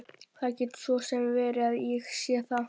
Það getur svo sem verið að ég sé það.